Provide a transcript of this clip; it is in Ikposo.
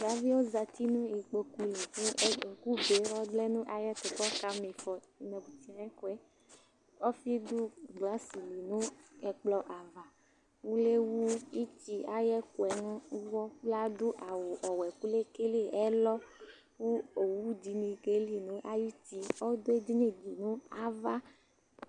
Davi yɛ zati nʋ ikpoku li kʋ ɛ ʋ ɛkʋbe ɔlɛ nʋ ayɛtʋ kʋ ɔkama ɩfɔ nʋ inǝbutinǝ ayʋ iko yɛ Ɔfɩ dʋ glasɩ li nʋ ɛkplɔ ava Uvi yɛ ewu ɩtɩ ayʋ ɛkʋ yɛ nʋ ʋɣɔ kʋ ladʋ awʋ ɔwɛ kʋ lekele ɛlɔ kʋ owu dɩnɩ keli nʋ ayuti Ɔdʋ edini dɩ nʋ ava